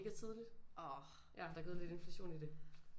Mega tidligt ja der er gået lidt inflation i det